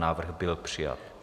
Návrh byl přijat.